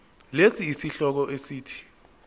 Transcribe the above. lesi sihloko esithi